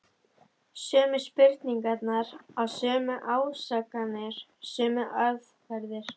Sömu spurningar, sömu ásakanir, sömu aðferðir.